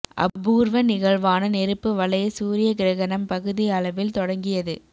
அபூர்வ நிகழ்வான நெருப்பு வளைய சூரிய கிரகணம் பகுதி அளவில் தொடங்கியது